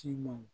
Ci ma